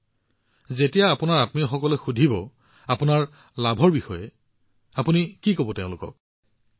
কিন্তু যেতিয়া আপোনাৰ সকলো আত্মীয় আৰু পৰিচিত লোকে আপোনাক সুধিব আপুনি তেওঁলোকক কি কব ইয়াৰ সুবিধা কি আছে